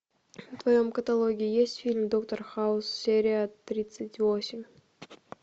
в твоем каталоге есть фильм доктор хаус серия тридцать восемь